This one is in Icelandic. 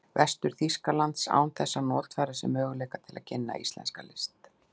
Vestur-Þýskalands, án þess að notfæra sér möguleika til að kynna íslenska list.